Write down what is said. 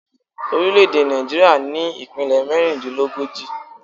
Orílẹ̀ èdè Nàìjíríà ní ìpínlè mérindínlógójì